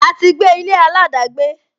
A ti gbé ilé aladagbe